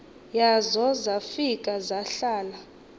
yazo zafika zahlala